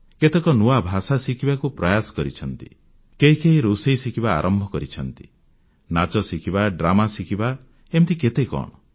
କେତେକ ନୂଆ ଭାଷା ଶିଖିବାକୁ ପ୍ରୟାସ କରିଛନ୍ତି କେହି କେହି ରୋଷେଇ ଶିଖିବା ଆରମ୍ଭ କରିଛନ୍ତି ନାଚ ଶିଖିବା ଡ୍ରାମା ଶିଖିବା ଏମିତି କେତେ କଣ